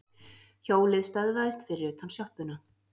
Hjólið stöðvaðist fyrir utan sjoppuna.